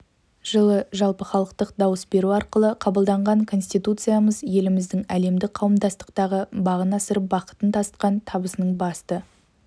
жылы жалпыхалықтық дауыс беру арқылы қабылданған конституциямыз еліміздің әлемдік қауымдастықтағы бағын асырып бақытын тасытқан табысының басты